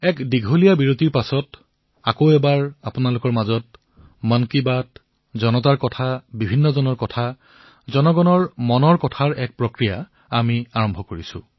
এক দীৰ্ঘ সময়ৰ পিছত পুনৰবাৰ আপোনালোক সকলোৰে মাজত মন কী বাত জনতাৰ কথা জনজনৰ কথা জনমনৰ কথা প্ৰক্ৰিয়া আৰম্ভ কৰিছো